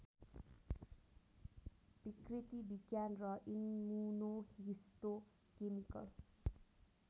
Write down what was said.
विकृति विज्ञान र इम्मुनोहिस्तोकेमिकल